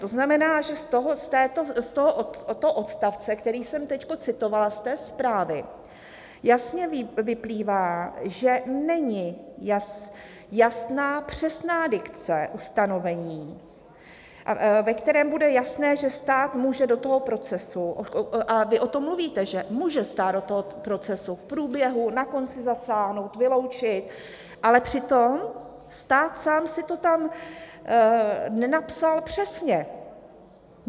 To znamená, že z tohoto odstavce, který jsem teď citovala z té zprávy, jasně vyplývá, že není jasná přesná dikce ustanovení, ve kterém bude jasné, že stát může do toho procesu - a vy o tom mluvíte, že může stát do toho procesu v průběhu, na konci zasáhnout, vyloučit, ale přitom stát sám si to tam nenapsal přesně.